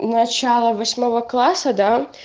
начало восьмого класса да